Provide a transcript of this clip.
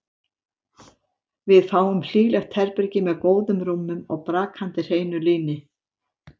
Við fáum hlýlegt herbergi með góðum rúmum og brakandi hreinu líni.